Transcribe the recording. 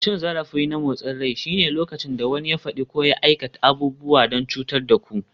Cin zarafi na motsin rai shine lokacin da wani ya faɗi ko ya aikata abubuwa don cutar da ku.